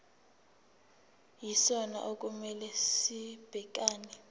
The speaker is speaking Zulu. yisona okumele sibhekane